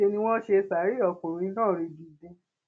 níṣẹ ni wọn ṣe ṣàárẹ ọkùnrin náà ringindin